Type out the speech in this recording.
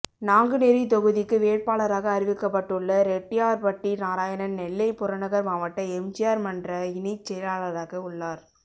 நாங்குநேரி தொகுதிக்கு வேட்பாளராக அறிவிக்கப்பட்டுள்ள ரெட்டியார்பட்டி நாராயணன் நெல்லை புறநகர் மாவட்ட எம்ஜிஆர் மன்ற இணைச் செயலாளராக உள்ளார்